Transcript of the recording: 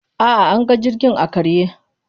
A'a, anga jirgin ya karye.